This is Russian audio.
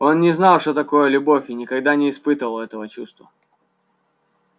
он не знал что такое любовь и никогда не испытывал этого чувства